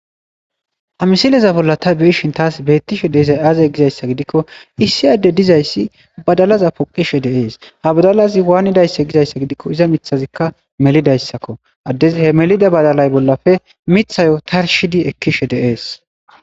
Ha misileza bolla ta biishin taas beettishe deezay aazey gizayssa gidikko issi adde dizayssi badalaza poqishe deees ha badalazi waanidayssa gizayssa gidikko iza mithazikka melidayssakko addezi he melida badalay bollafe mithayo tarshidi ekkishe dees.